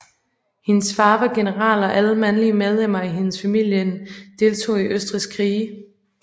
Hendes far var general og alle mandlige medlemmer i hendes familien deltog i Østrigs krige